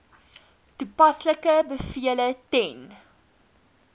toepaslike bevele ten